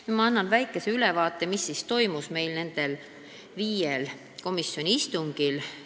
Ma annan nüüd väikese ülevaate, mis toimus nendel viiel komisjoni istungil.